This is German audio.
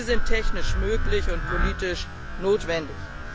Sie sind technisch möglich und politisch notwendig.